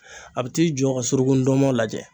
A bi t'i jɔ ka suruku ndɔnmɔn lajɛ